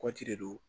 Kɔti de don